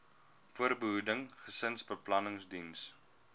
voorbehoeding gesinsbeplanning diens